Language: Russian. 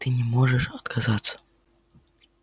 ты не можешь отказаться